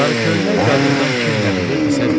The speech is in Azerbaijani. Sarı köynək qadından kim nə bilirdisə dedi.